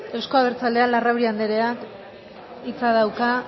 euzko abertzaleak larrauri andreak hitza dauka